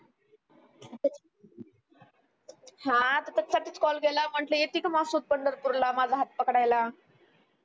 हा तर त्याच्यासाठीच call केला म्हंटल की येती का माहसोबत पंढरपूरला माझा हात पकडायला